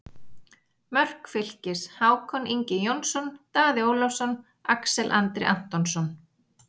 Mörk Fylkis: Hákon Ingi Jónsson, Daði Ólafsson, Axel Andri Antonsson